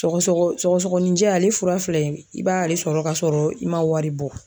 Sɔgɔsɔgɔ sɔgɔsɔgɔninjɛ ale fura filɛ nin ye i b'ale sɔrɔ ka sɔrɔ i ma wari bɔ.